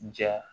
Ja